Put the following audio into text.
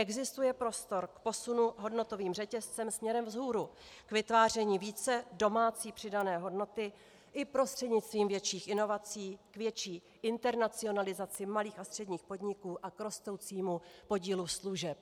Existuje prostor k posunu hodnotovým řetězcem směrem vzhůru k vytváření více domácí přidané hodnoty i prostřednictvím větších inovací k větší internacionalizaci malých a středních podniků a k rostoucímu podílu služeb.